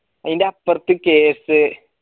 അയിൻറപ്പർത്ത്